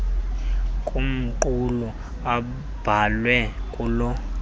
kumqulu abhalwe kulo